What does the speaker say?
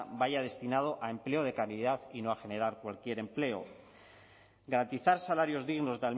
vaya destinado a empleo de calidad y no a generar cualquier empleo garantizar salarios dignos